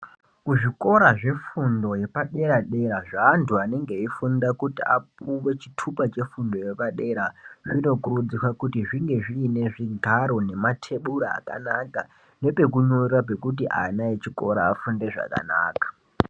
Kuzvikora zvefundo yepadera-dera zvaantu anonga eifunda kuti apuwe chitupa chefundo yepadera. Zvinokurudzirwa kuti zvinge zvine zvigaro nematebura akanaka nepekunyorera pekuti ana echikora afunde zvakanaka.